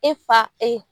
E fa e